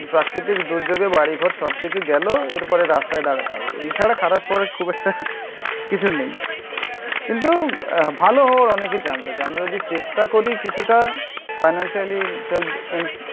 প্রাকৃতিক দুর্যোগে বাড়িঘর সবকিছু গেল এরপরে রাস্তায় দাঁড়াতে হবে. এছাড়া খারাপ পরে খুব একটা কিছু নেই. কিন্তু ভালো হওয়ার অনেকের চান্স আছে. আমরা যদি চেষ্টা করি কিছুটা ফিনান্সিয়ালি সেলফ,